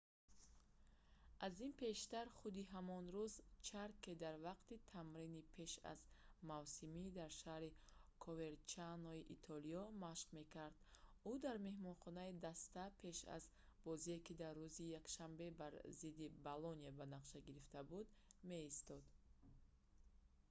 аз ин пештар худи ҳамон рӯз ҷарке дар вақти тамрини пеш аз мавсимӣ дар шаҳри коверчанои итолиё машқ мекард ӯ дар меҳмонхонаи даста пеш аз бозие ки дар рӯзи якшанбе бар зидди болония ба нақша гирифта буд меистод